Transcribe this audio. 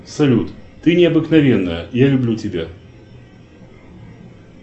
салют ты необыкновенная я люблю тебя